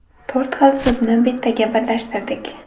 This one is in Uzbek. To‘rt xil sudni bittaga birlashtirdik.